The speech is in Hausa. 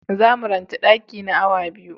Za mu ranche daki na awa biyu.